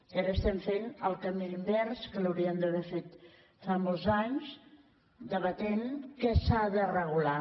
i ara estem fent el camí a la inversa que l’hauríem d’haver fet fa molts anys debatent què s’ha de regular